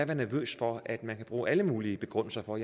være nervøs for at man kan bruge alle mulige begrundelser for